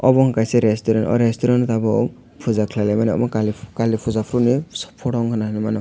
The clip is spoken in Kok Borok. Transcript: obo ungka kei kaisa restaurant o resturant tabok puja kelailaimani kali puja poro ni photo ungka na hinui mano.